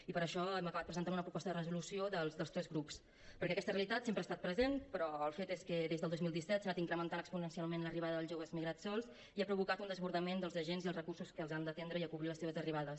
i per això hem acabat presentant una proposta de resolució dels tres grups perquè aquesta realitat sempre ha estat present però el fet és que des del dos mil disset s’ha anat incrementat exponencialment l’arribada dels joves migrats sols i ha provocat un desbordament dels agents i els recursos que els han d’atendre i acollir a les seves arribades